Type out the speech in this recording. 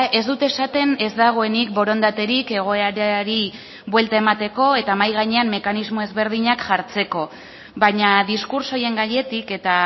ez dut esaten ez dagoenik borondaterik egoerari buelta emateko eta mahai gainean mekanismo ezberdinak jartzeko baina diskurtso horien gainetik eta